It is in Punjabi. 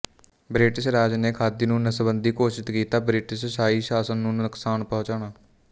ਬ੍ਰਿਟਿਸ਼ ਰਾਜ ਨੇ ਖਾਦੀ ਨੂੰ ਨਸਬੰਦੀ ਘੋਸ਼ਿਤ ਕੀਤਾ ਬ੍ਰਿਟਿਸ਼ ਸ਼ਾਹੀ ਸ਼ਾਸਨ ਨੂੰ ਨੁਕਸਾਨ ਪਹੁੰਚਾਉਣਾ